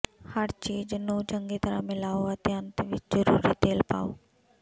ਹਰ ਚੀਜ਼ ਨੂੰ ਚੰਗੀ ਤਰ੍ਹਾਂ ਮਿਲਾਓ ਅਤੇ ਅੰਤ ਵਿੱਚ ਜ਼ਰੂਰੀ ਤੇਲ ਪਾਓ